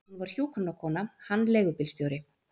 Hún var hjúkrunarkona, hann leigubílstjóri.